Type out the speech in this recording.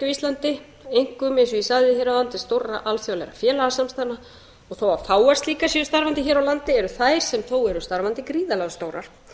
íslandi einkum eins og ég sagði hér áðan til stórra alþjóðlegra félagasamstæðna og þó að fáar slíkar séu starfandi hér á landi eru þær sem þó eru starfandi gríðarlega stórar